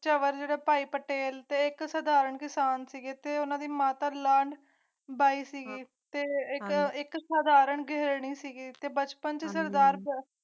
ਸਵਰਣ ਭਾਈ ਪਟੇਲ ਤੇ ਇਕ ਸਾਧਾਰਨ ਕਿਸਾਨ ਸੀ ਅਤੇ ਉਨ੍ਹਾਂ ਦੀ ਮਾਤਾ ਬਈ ਸਿੰਘ ਹੈ ਜੋ ਇਕ ਸਾਧਾਰਨ ਕਿਸਾਨ ਸੀ ਅਤੇ ਬਚਪਨ ਦਾ ਅਰਥ